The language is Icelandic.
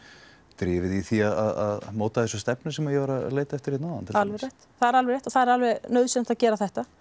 drifið í því að móta þessa stefnu sem ég var að leita eftir hérna áðan alveg rétt það er alveg rétt og það er alveg nauðsynlegt að gera þetta